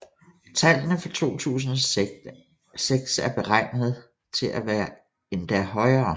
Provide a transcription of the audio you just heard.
Tallene for 2006 er beregnet at være endda højere